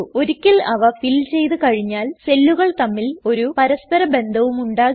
ഒരിക്കൽ അവ ഫിൽ ചെയ്തു കഴിഞ്ഞാൽ സെല്ലുകൾ തമ്മിൽ ഒരു പരസ്പര ബന്ധവും ഉണ്ടാകില്ല